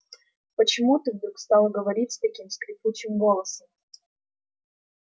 почему ты вдруг стала говорить таким скрипучим голосом